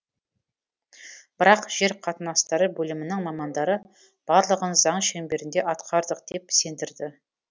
бірақ жер қатынастары бөлімінің мамандары барлығын заң шеңберінде атқардық деп сендірді